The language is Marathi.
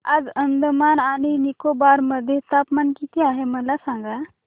आज अंदमान आणि निकोबार मध्ये तापमान किती आहे मला सांगा